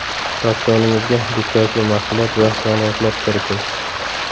Ratsioningizga dukkakli mahsulot va yong‘oqlar kiriting.